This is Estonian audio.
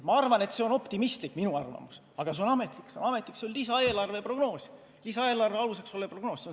Ma arvan, et see on optimistlik, aga see on ametlik, see on lisaeelarve aluseks olev prognoos.